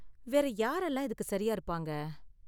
வேற யாரெல்லாம் இதுக்கு சரியா இருப்பாங்க?